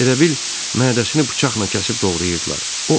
Elə bil mədəsinə bıçaqla kəsib doğrayırdılar.